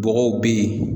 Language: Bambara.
Bɔgɔw be yen